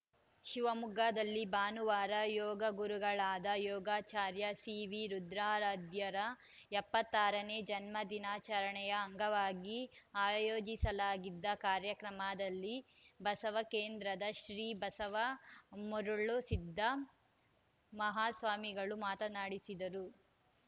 ಶಿವಮೊಗ್ಗದಲ್ಲಿ ಭಾನುವಾರ ಯೋಗ ಗುರುಗಳಾದ ಯೋಗಾಚಾರ್ಯ ಸಿವಿರುದ್ರಾರಾಧ್ಯರ ಎಪ್ಪತ್ತ್ ಆರ ನೇ ಜನ್ಮ ದಿನಾಚರಣೆಯ ಅಂಗವಾಗಿ ಆಯೋಜಿಸಲಾಗಿದ್ದ ಕಾರ್ಯಕ್ರಮದಲ್ಲಿ ಬಸವ ಕೇಂದ್ರದ ಶ್ರೀ ಬಸವ ಮರುಳಸಿದ್ದ ಮಹಾಸ್ವಾಮಿಗಳು ಮಾತನಾಡಿದರು